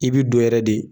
I bi don yɛrɛ de